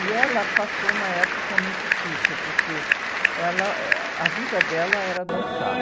E ela passou uma época muito difícil, porque ela, eh, a vida dela era dançar.